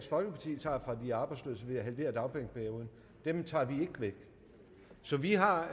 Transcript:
folkeparti tager fra de arbejdsløse ved at halvere dagpengeperioden tager vi ikke væk så vi har